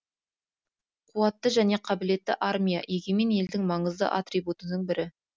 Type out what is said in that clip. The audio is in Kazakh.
қуатты және қабілетті армия егемен елдің маңызды атрибутының бірі